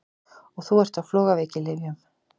Og þú ert á flogaveikilyfjum!